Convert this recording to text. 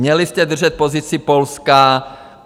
Měli jste držet pozici Polska.